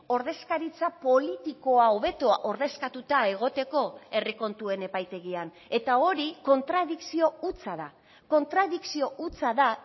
ordezkaritza politikoa hobeto ordezkatuta egoteko herri kontuen epaitegian eta hori kontradikzio hutsa da kontradikzio hutsa da